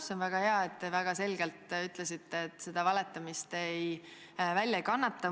See on väga hea, et te nii selgelt ütlesite, et valetamist te välja ei kannata.